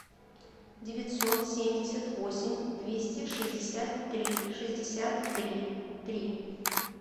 девятьсот семьдесят восемь двести шестьдесят три шестьдесят три три